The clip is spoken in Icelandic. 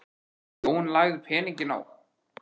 Jón lagði peninginn í opinn lófa mannsins.